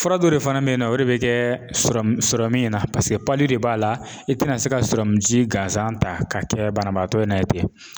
Fura dɔ de fana bɛyinnɔ o de bɛ kɛ sɔrɔ min na paseke de b'a la i tɛna se ka sɔrɔ ji gansan ta k'a kɛ banabaatɔ in na ye ten.